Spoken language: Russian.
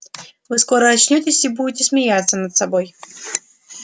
вы скоро очнётесь и будете смеяться над собой